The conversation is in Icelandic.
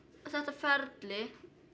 þetta ferli